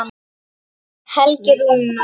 Helgi Rúnar.